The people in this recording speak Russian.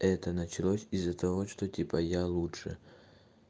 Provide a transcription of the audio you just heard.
это началось из-за того что типа я лучше